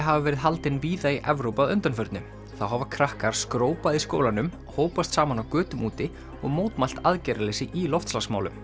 hafa verið haldin víða í Evrópu að undanförnu þá hafa krakkar skrópað í skólanum hópast saman á götum úti og mótmælt aðgerðarleysi í loftslagsmálum